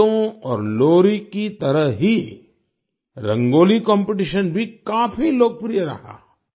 गीतों और लोरी की तरह ही रंगोली कॉम्पिटिशन भी काफी लोकप्रिय रहा